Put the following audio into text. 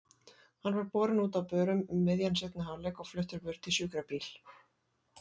Hann var borinn út á börum um miðjan seinni hálfleik og fluttur burt í sjúkrabíl.